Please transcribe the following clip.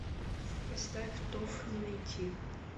поставь тоф не найти